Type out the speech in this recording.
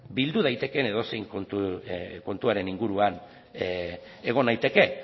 bildu daiteken edozein kontuaren inguruan egon naiteke